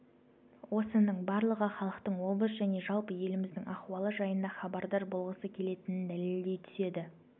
осының барлығы халықтың облыс және жалпы еліміздің ахуалы жайында хабардар болғысы келетінін дәлелдей түседі